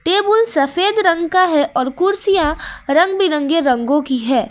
Table सफेद रंग का है और कुर्सियां रंग बिरंगे रंगों की है।